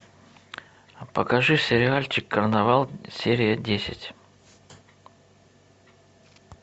покажи сериальчик карнавал серия десять